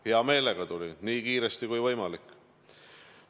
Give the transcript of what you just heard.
Ma hea meelega tulin, nii kiiresti, kui võimalik.